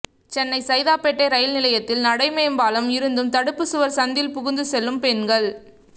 சென்னை சைதாப்பேட்டை ரயில் நிலையத்தில் நடை மேம்பாலம் இருந்தும் தடுப்பு சுவர் சந்தில் புகுந்து செல்லும் பெண்கள்